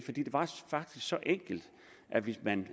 var faktisk så enkelt at hvis man